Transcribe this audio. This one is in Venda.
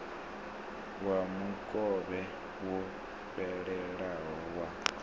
wa mukovhe wo fhelelaho wa